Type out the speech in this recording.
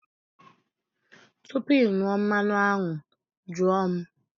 Tupu ị ṅụọ mmanụ aṅụ, jụọ m!